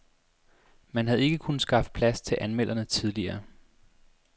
Man havde ikke kunnet skaffe plads til anmelderne tidligere.